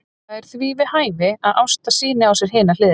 Það er því við hæfi að Ásta sýni á sér hina hliðina.